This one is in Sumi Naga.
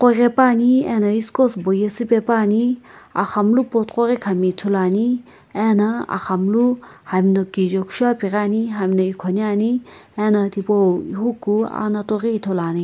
ghai pane ano eskos bo izipaepani aghamlu pot koghi kam ithulu ane ana aghamlu hamna kijae kusho apighi ane hamna ikhonae ane ano hupu anato ghi ithulu ane.